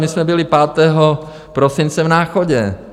My jsme byli 5. prosince v Náchodě.